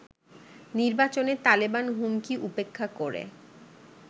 নির্বাচনে তালেবান হুমকি উপেক্ষা করে